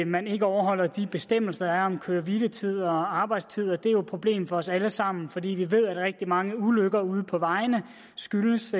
man ikke overholder de bestemmelser der er om køre hvile tid og arbejdstid og det er jo et problem for os alle sammen fordi vi ved at rigtig mange ulykker ude på vejene skyldes